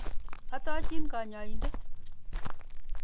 Arutochini kanyoindet.